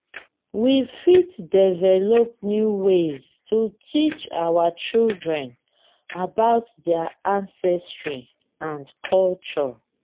we fit develop new ways to teach our children about their ancestry and culture. um